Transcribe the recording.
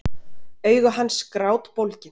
Augu hans grátbólgin.